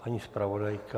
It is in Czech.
Paní zpravodajka?